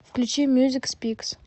включи мьюзик спикс